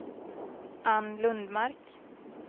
Ann Lundmark